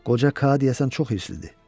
Qoca Ka deyəsən çox hirsliydi.